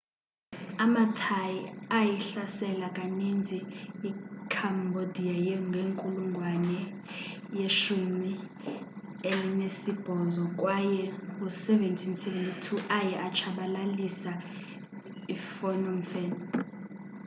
amathai ayihlasela kaninzi icambodia ngenkulungwane ye18 kway ngo-1772 aye atshabalilisa iphnom phen